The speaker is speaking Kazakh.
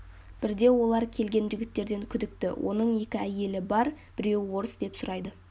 бірде олар келген жігіттерден күдікті оның екі әйелі бар біреуі орыс деп сұрайды